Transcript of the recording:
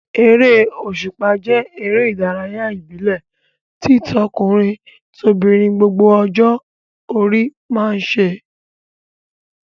Eré òṣùpá jẹ́ eré ìdárayá ìbílẹ̀ tí tọkùnrin-tobìnrin gbogbo ọjọ́ orí máa ń ṣe.